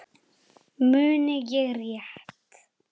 Muni ég rétt.